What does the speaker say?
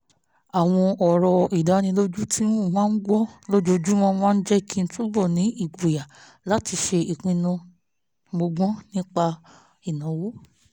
àwọn ọ̀rọ̀ ìdánilójú tí mo máa ń gbọ́ lójoojúmọ́ máa ń jẹ́ kí n túbọ̀ ní ìgboyà láti ṣe ìpinnu mọ́gbọ́n nípa ìnáwó